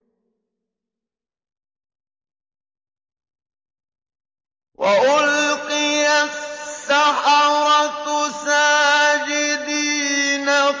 وَأُلْقِيَ السَّحَرَةُ سَاجِدِينَ